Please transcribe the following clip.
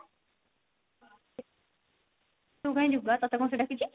ତୁ କାଇଁ ଯିବୁ ବା ତତେ କଣ ସିଏ ଡାକିଛି